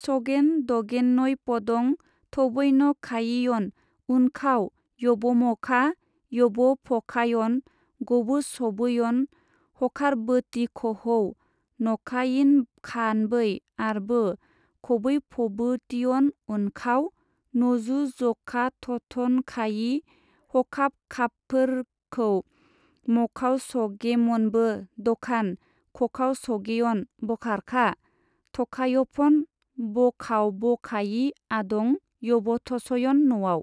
सगेन-दगेनयपदं थबैनखायियन उनखाव यबमखा-यबफखायन गब'सब'यन हखारबोतिखहौ नखायिनखानबै आरबो खबैफबोतियन उनखाव नजुजखाथथनखायि हखाबखाबफोरखौ मखावसगेमनबो-दखान खखावसगेयन बखारखा थखायफन बखावबखायि आदं यबथसयन नआव।